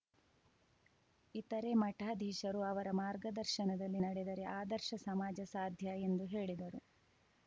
ಇತರೇ ಮಠಾಧೀಶರು ಅವರ ಮಾರ್ಗದರ್ಶನದಲ್ಲಿ ನಡೆದರೆ ಆದರ್ಶ ಸಮಾಜ ಸಾಧ್ಯ ಎಂದು ಹೇಳಿದರು